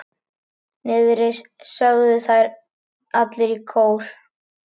Niðri, sögðu þeir allir í kór.